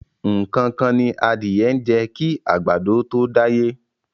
Nǹkan kan ni adìẹ ń jẹ kí àgbàdo tó dáyé.